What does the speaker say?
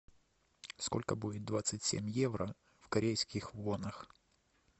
сколько будет двадцать семь евро в корейских вонах